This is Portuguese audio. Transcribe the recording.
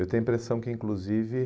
Eu tenho a impressão que, inclusive,